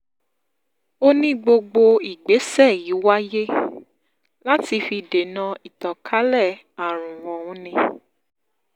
ó ní gbogbo ìgbésẹ̀ yìí wáyé um láti fi dènà ìtàkànlé àrùn ọ̀hún ni um